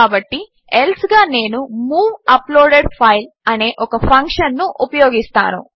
కాబట్టి ఎల్సే గా నేను move uploaded file అనే ఒక ఫంక్షన్ ఉపయోగిస్తాను